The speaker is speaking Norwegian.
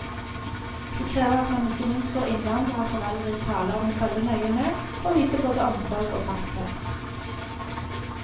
Det krever at man ikke minst får innvandrerforeldre i tale om å følge nøye med, og vise både omsorg og fasthet.